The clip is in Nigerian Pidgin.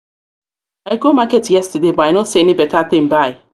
i go market yesterday but i know see any better thing buy.